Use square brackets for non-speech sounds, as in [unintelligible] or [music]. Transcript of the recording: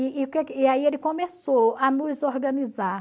[unintelligible] e aí ele começou a nos organizar.